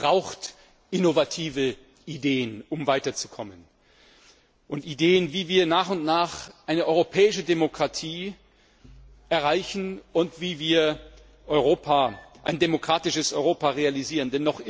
Europa braucht innovative Ideen, um weiterzukommen, und Ideen, wie wir nach und nach eine europäische Demokratie erreichen und wie wir ein demokratisches Europa realisieren.